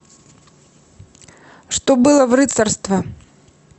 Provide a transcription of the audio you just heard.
что было в рыцарство